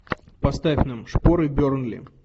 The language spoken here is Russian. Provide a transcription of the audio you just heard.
поставь нам шпоры бернли